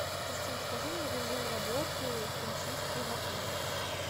кристин скажи мне режим работы химчистки в отеле